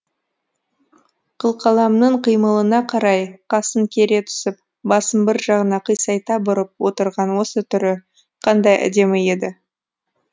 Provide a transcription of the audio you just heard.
қылқаламның қимылына қарай қасын кере түсіп басын бір жағына қисайта бұрып отырған осы түрі қандай әдемі еді